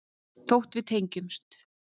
Þótt við tengjumst.